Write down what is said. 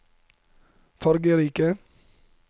fargerike